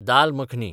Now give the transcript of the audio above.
दाल makhani